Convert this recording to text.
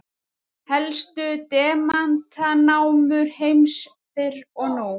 Helstu demantanámur heims fyrr og nú.